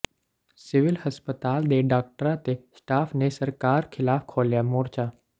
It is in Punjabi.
ਸਿਵਲ ਹਸਪਤਾਲ ਦੇ ਡਾਕਟਰਾਂ ਤੇ ਸਟਾਫ ਨੇ ਸਰਕਾਰ ਖਿਲਾਫ ਖੋਲ੍ਹਿਆ ਮੋਰਚਾ